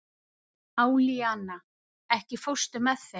Alíana, ekki fórstu með þeim?